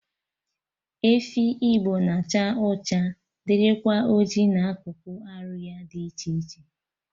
Efi Igbo na-acha ọcha dịrịkwa oji na akụkụ arụ ya dị iche iche